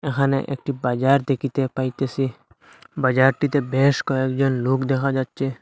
এখানে একটি বাজার দেখিতে পাইতেসি বাজারটিতে বেশ কয়েকজন লোক দেখা যাচ্ছে।